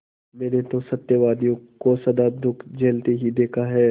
मैंने तो सत्यवादियों को सदा दुःख झेलते ही देखा है